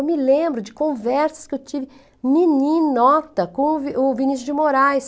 Eu me lembro de conversas que eu tive, mini nota, com o o Vinícius de Moraes.